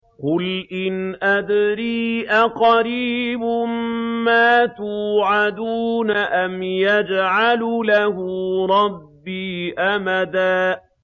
قُلْ إِنْ أَدْرِي أَقَرِيبٌ مَّا تُوعَدُونَ أَمْ يَجْعَلُ لَهُ رَبِّي أَمَدًا